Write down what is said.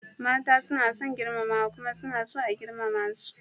Mata suna son girmamawa kuma suna so a girmama su.